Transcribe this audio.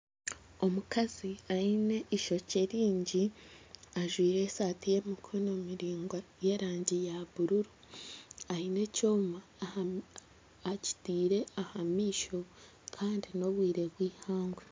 Omukazi ayine ishokye ringi ajwire esaati y'emikono miraingwa y'erangi ya bururu. Aine ekyoma akitiire aha maisho kandi n'obwire bw'eihangwe.